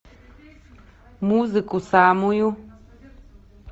музыку самую